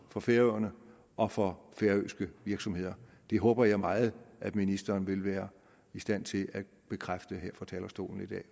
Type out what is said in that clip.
for færøerne og for færøske virksomheder det håber jeg meget at ministeren vil være i stand til at bekræfte her fra talerstolen i dag